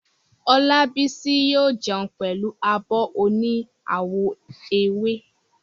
Olábísí yóò jẹun pẹ̀lú abọ́ oní àwọ̀ ewé